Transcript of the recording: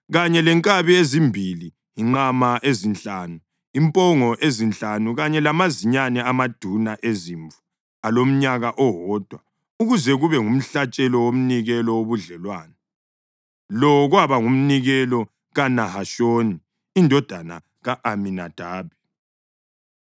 kanye lenkabi ezimbili, inqama ezinhlanu, impongo ezinhlanu kanye lamazinyane amaduna ezimvu alomnyaka owodwa, ukuze kube ngumhlatshelo womnikelo wobudlelwano. Lo kwaba ngumnikelo kaNahashoni indodana ka-Aminadabi.